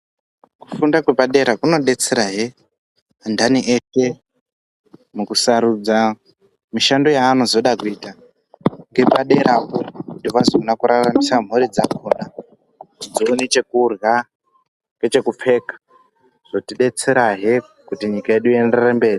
Kufunda kwepadera kunodetserahe anthani eshe mukusarudza mishando yeanozoda kuita ngepadera kuti vazoona kuraramisa mhuri dzakhona kuti dzione chekurya nechekupfeka. Zvotidetserahe kuti nyika yedu ienderere mberi.